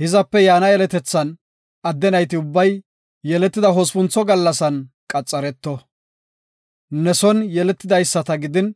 Hizape yaana yeletethan adde nayti ubbay yeletida hospuntho gallasan qaxareto. Ne son yeletidaysata gidin,